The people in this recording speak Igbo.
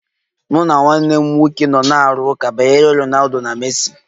Mụ na nwanne m nwoke nọ na-arụ ụka banyere Ronaldo na Messi.